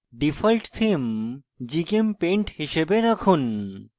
default theme gchempaint হিসাবে রাখুন